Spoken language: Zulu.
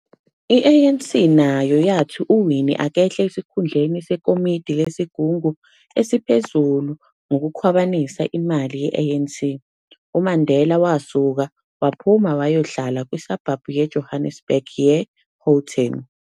I-ANC nayo yathi uWinnie akehle esikhundleni sekomidi lesigungu esiphezulu ngokukhwabanisa imali ye-ANC, uMandela wasuka waphuma wayohlala kwisabhabhu yeJohannesburg ye-Houghton.